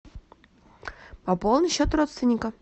пополни счет родственника